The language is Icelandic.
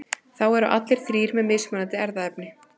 þá eru allir þrír með mismunandi erfðaefni